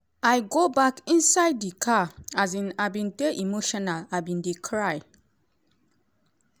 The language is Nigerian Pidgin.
i go back inside di car um i bin dey emotional i bin dey cry."